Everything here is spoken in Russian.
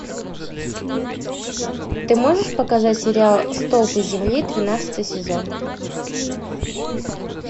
ты можешь показать сериал столпы земли тринадцатый сезон